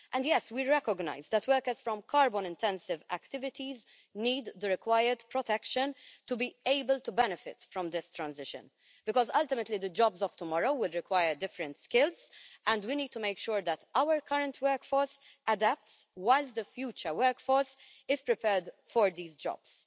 Yes, we recognise that workers in carbon-intensive activities need the required protection to be able to benefit from this transition because, ultimately, the jobs of tomorrow will require different skills and we need to make sure that our current workforce adapts, while the future workforce is prepared for these jobs.